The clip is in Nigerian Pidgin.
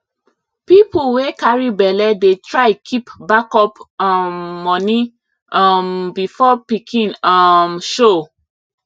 people wey carry belle dey try keep backup um money um before pikin um show